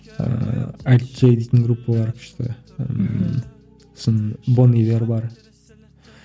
ыыы айд джей дейтін группа бар күшті мхм сосын бон ивер бар